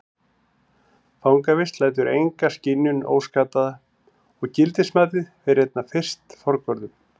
Fangavist lætur enga skynjun óskaddaða og gildismatið fer einna fyrst forgörðum.